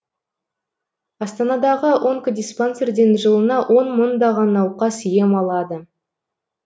астанадағы онкодиспансерден жылына он мыңдаған науқас ем алады